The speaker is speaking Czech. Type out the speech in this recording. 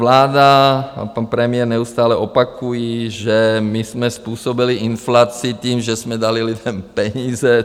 Vláda a pan premiér neustále opakují, že my jsme způsobili inflaci tím, že jsme dali lidem peníze.